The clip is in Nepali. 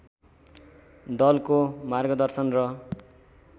दलको मार्गदर्शन र